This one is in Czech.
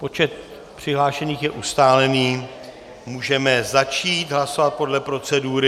Počet přihlášených je ustálený, můžeme začít hlasovat podle procedury.